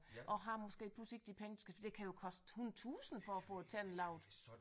Og har måske pludselig ikke de penge der skal for det kan jo koste 100 tusind for at få tænder lavet